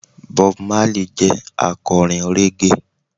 Bob Marley jẹ́ akọrin Reggae.